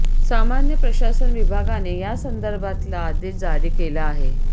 सामान्य प्रशासन विभागाने यासंदर्भातला आदेश जारी केला आहे